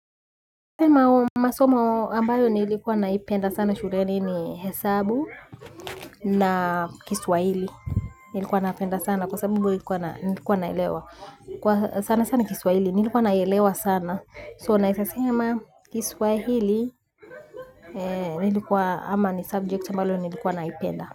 Mao masomo ambayo nilikuwa naipenda sana shuleni ni hesabu na kiswahili nilikuwa napenda sana kwa sababu nilikuwa naelewa sana sana kiswahili nilikuwa naelewa sana so naeza sema kiswahili nilikuwa ama ni subject ambalo nilikuwa naipenda.